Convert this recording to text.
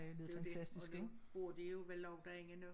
Det jo dét og det bor de jo vel også derinde nu